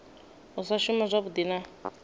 u sa shuma zwavhui na